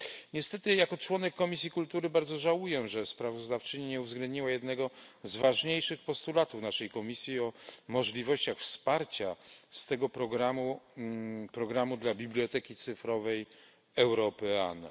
Niestety jako członek Komisji Kultury bardzo żałuję, że sprawozdawczyni nie uwzględniła jednego z ważniejszych postulatów naszej komisji o możliwościach wsparcia z tego programu programu dla biblioteki cyfrowej Europeana.